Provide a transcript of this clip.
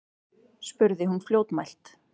spurði hún fljótmælt.